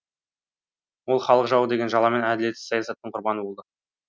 ол халық жауы деген жаламен әділетсіз саясаттың құрбаны болды